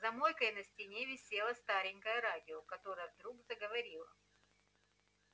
за мойкой на стене висело старенькое радио которое вдруг заговорило